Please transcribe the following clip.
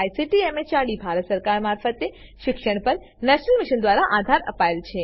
જેને ICT MHRD Bharat સરકાર મારફતે શિક્ષણ પર નેશનલ મિશન દ્વારા આધાર અપાયેલ છે